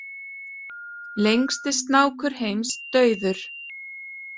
Lengsti snákur heims dauður